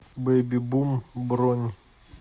бэбибум бронь